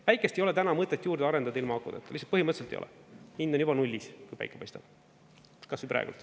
Päikest ei ole täna mõtet juurde arendada ilma akudeta, lihtsalt põhimõtteliselt ei ole, hind on juba nullis, kui päike paistab, kas või praegu.